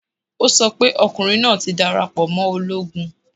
O sọ pé ọkùnrin náà ti darapọ̀ mọ́ ológun